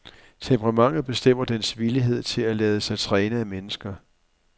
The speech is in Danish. Temperamentet bestemmer dens villighed til at lade sig træne af mennesker.